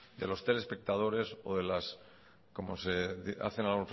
de los telespectadores o